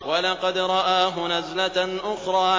وَلَقَدْ رَآهُ نَزْلَةً أُخْرَىٰ